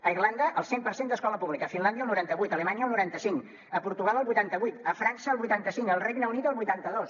a irlanda el cent per cent d’escola pública a finlàndia el noranta vuit a alemanya el noranta cinc a portugal el vuitanta vuit a frança el vuitanta cinc al regne unit el vuitanta dos